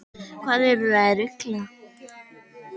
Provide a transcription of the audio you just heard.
Hvað eruð þið að rugla?